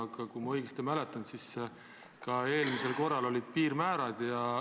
Aga kui ma õigesti mäletan, siis ka eelmisel korral olid piirmäärad.